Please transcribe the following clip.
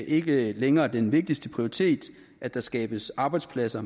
ikke længere den vigtigste prioritet at der skabes arbejdspladser